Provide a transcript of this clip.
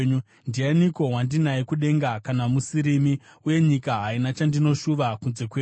Ndianiko wandinaye kudenga kana musirimi? Uye nyika haina chandinoshuva kunze kwenyu.